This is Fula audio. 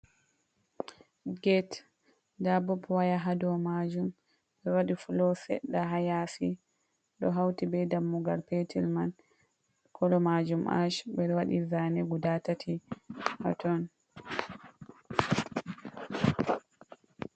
Get, nda bob waya hado majum ɓe waɗi fulo seɗɗa hayasi, ɗo hauti be dammugal petel man, kolo majum ash ɗowaɗi zane guda tati haton .